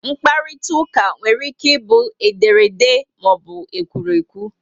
mkparitauka nwere ike bu ederede maọbu ekwurekwu